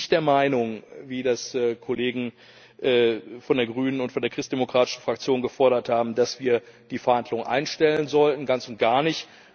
Ich bin nicht der Meinung wie das Kollegen von der Grünen und der Christdemokratischen Fraktion gefordert haben dass wir die Verhandlungen einstellen sollten, ganz und gar nicht.